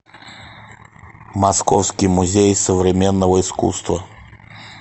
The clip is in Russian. московский музей современного искусства